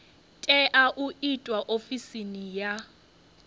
tea u itwa ofisini ya